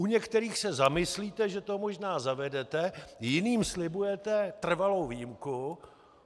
U některých se zamyslíte, že to možná zavedete, jiným slibujete trvalou výjimku.